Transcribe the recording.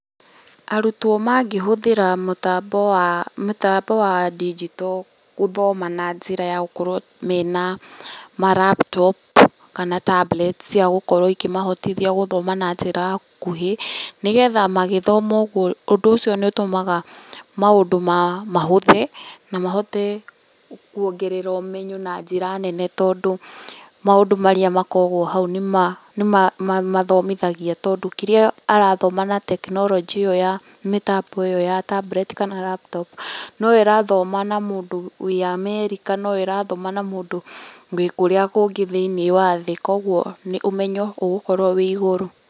Arutwo mangĩhũthĩra mũtambo wa mũtambo wa ndinjito gũthoma na njĩra ya gũkorwo mena ma laptop kana tablets cia gũkorwo ikĩmahotithia gũthoma na njĩra ya ũkuhĩ nĩgetha magĩthoma ũguo, ũndũ ũcio nĩ ũtũmaga maũndũ mahũthe na mahote kuongerera ũmenyo na njĩra nene tondũ maũndũ marĩa makoragwo hau nĩ mamathomithagia tondũ kĩrĩa arathoma na tekinoronjĩ ĩo ya mĩtambo ĩo ya tablets kana laptop noyo ĩrathoma na mũndũ wĩ amerika, noyo ĩrathoma na mũndũ wĩ kũrĩa kũngĩ thĩiniĩ wa thĩ, kũoguo ũmenyo ũgũkorwo wĩ igũrũ